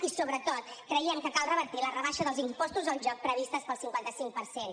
i sobretot creiem que cal revertir la rebaixa dels impostos al joc prevista del cinquanta cinc per cent